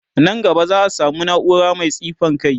Nan gaba za'a samu naura Mai tsifan kai